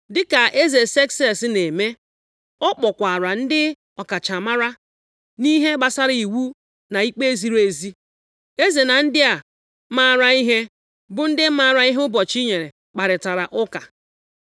Dịka eze Sekses na-eme, ọ kpọkwara ndị ọkachamara nʼihe gbasara iwu na ikpe ziri ezi. Eze na ndị a mara ihe, bụ ndị maara ihe ụbọchị nyere kparịtara ụka.